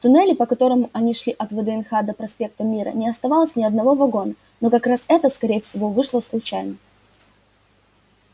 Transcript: в туннеле по которому они шли от вднх до проспекта мира не оставалось ни одного вагона но как раз это скорее всего вышло случайно